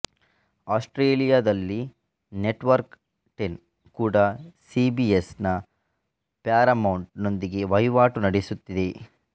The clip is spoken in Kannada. ಆಸ್ಟ್ರೇಲಿಯಾದಲ್ಲಿ ನೆಟ್ವರ್ಕ್ ಟೆನ್ ಕೂಡಾ ಸಿಬಿಎಸ್ ನ ಪ್ಯಾರಾಮೌಂಟ್ ನೊಂದಿಗೆ ವಹಿವಾಟು ನಡೆಸುತ್ತಿದೆ